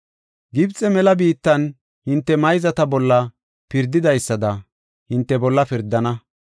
Gibxe mela biittan hinte mayzata bolla pirdidaysada, hinte bolla pirdana.